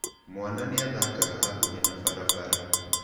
Mwana nĩ aathakaga hakuhĩ na barabara.